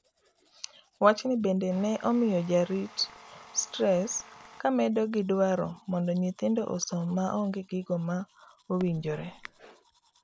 wacni bende ne omiyo jarit stress kamedo gi dwaro mondo nyithindo osom mainge gigo ma owinjore